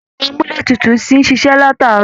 Ẹ̀rọ amúletutù ti n ṣíṣe lataarọ